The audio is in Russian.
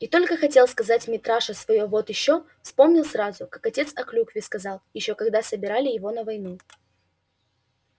и только хотел сказать митраша своё вот ещё вспомнилось ему как отец о клюкве сказал ещё когда собирали его на войну